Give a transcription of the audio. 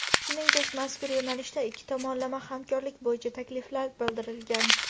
shuningdek mazkur yo‘nalishda ikki tomonlama hamkorlik bo‘yicha takliflar bildirilgan.